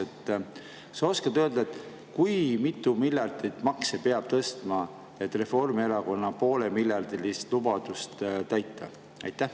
Kas sa oskad öelda, kui mitu miljardit makse peab tõstma, et Reformierakonna poolemiljardilist lubadust täita?